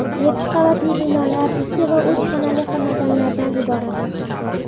Yetti qavatli binolar ikki va uch xonali xonadonlardan iborat.